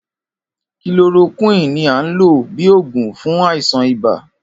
Kilorokíwìn ní a ń lò bíi oògùn fún àìsàn ibà